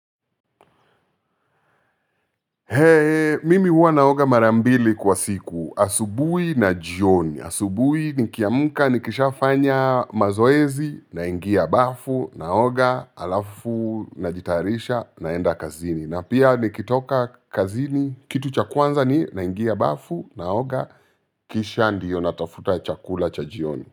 Mimi huwa naoga mara mbili kwa siku. Asubuhi na jioni. Asubuhi nikiamka nikisha fanya mazoezi naingia bafu naoga alafu najitayarisha naenda kazini na pia nikitoka kazini kitu cha kwanza ni naingia bafu naoga kisha ndio natafuta chakula cha jioni.